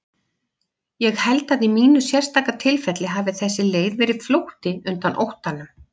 Ég held að í mínu sérstaka tilfelli hafi þessi leið verið flótti undan óttanum.